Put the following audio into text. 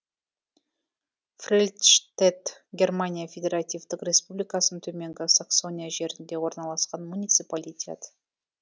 фрельштедт германия федеративтік республикасының төменгі саксония жерінде орналасқан муниципалитет